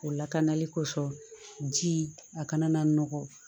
O lakanali kosɔn jii a kana na nɔgɔ